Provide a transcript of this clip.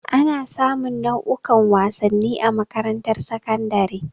Ana sa mun nau'ukan wasanni a makarantar sakandare.